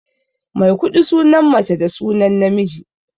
Maikuɗi sunan mace da sunan namiji.